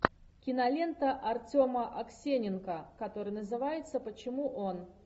кинолента артема аксененко которая называется почему он